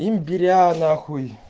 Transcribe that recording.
имбиря нахуй